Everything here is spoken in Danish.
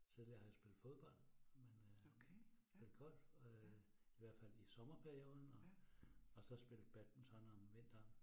Tidligere har jeg spillet fodbold, men øh men golf øh hvert fald i sommerperioden, og og så spillet badminton om vinteren